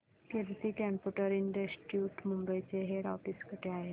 कीर्ती computer institute Mumbai चे head office कुठे आहे